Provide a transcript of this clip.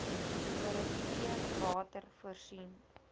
direkteur water voorsien